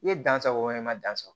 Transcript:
I ye dan sago i ma dan sɔrɔ